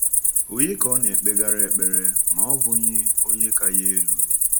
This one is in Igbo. Ònye ka ọ naekpegara ekpere ma ọ bụghị Onye ka ya elu?